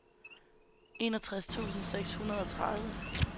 enogtres tusind seks hundrede og tredive